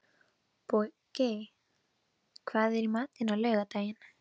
Bogey, hvað er í matinn á laugardaginn?